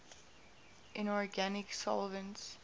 inorganic solvents